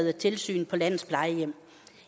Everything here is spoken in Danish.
af tilsyn på landets plejehjem